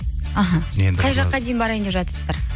іхі қай жаққа дейін барайын деп жатырсыздар